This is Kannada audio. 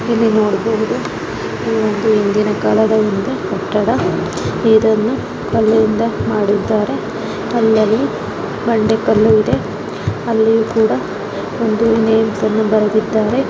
ಸೋ ನೀವು ಇಲ್ಲಿ ನೋಡಬಹುದು ಈವೊಂದು ಹಿಂದಿನ ಕಾಲದ ಕಟ್ಟಡ ಇದನ್ನು ಕಲ್ಲಿನಿಂದ ಮಾಡಿದ್ದಾರೆ. ಅಲ್ಲಲ್ಲಿ ಬಂಡೆ ಕಲ್ಲು ಇದೆ. ಅಲ್ಲಿಯೂ ಕೂಡ ಒಂ--